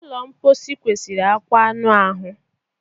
Ụlọ mposi kwesịrị akwa akwa anụ ahụ